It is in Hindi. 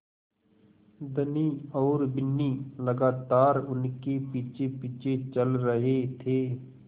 धनी और बिन्नी लगातार उनके पीछेपीछे चल रहे थे